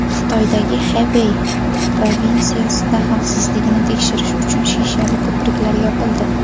Xitoydagi Xebey provinsiyasida xavfsizligini tekshirish uchun shishali ko‘priklar yopildi.